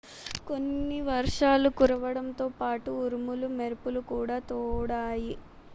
కొన్ని వర్షాలు కురవడంతో పాటు ఉరుములు మెరుపులు కూడా తోడాయి